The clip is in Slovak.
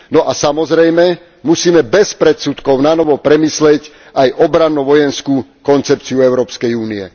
No a samozrejme musíme bez predsudkov nanovo premyslieť aj obranno vojenskú koncepciu Európskej únie.